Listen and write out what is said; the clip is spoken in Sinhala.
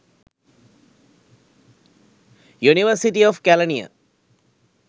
university of kelaniya